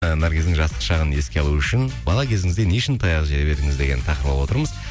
і наргиздің жастық шағын еске алу үшін бала кезіңізде не үшін таяқ жеп едіңіз деген тақырып алып отырмыз